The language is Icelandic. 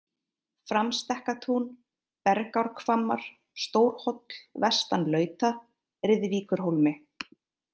Framstekkatún, Bergárhvammar, Stórhóll-vestan-Lauta, Riðvíkurhólmi